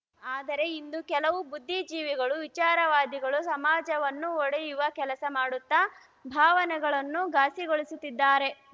ಆದರೆ ಇಂದು ಕೆಲವು ಬುದ್ಧಿ ಜೀವಿಗಳು ವಿಚಾರವಾದಿಗಳು ಸಮಾಜವನ್ನು ಒಡೆಯುವ ಕೆಲಸ ಮಾಡುತ್ತಾ ಭಾವನೆಗಳನ್ನು ಘಾಸಿಗೊಳಿಸುತ್ತಿದ್ದಾರೆ